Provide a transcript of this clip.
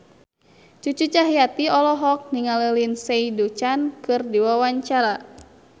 Cucu Cahyati olohok ningali Lindsay Ducan keur diwawancara